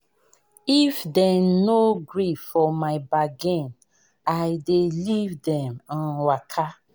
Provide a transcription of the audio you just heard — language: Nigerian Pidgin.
If dem no gree for my bargain, I dey leave dem um waka.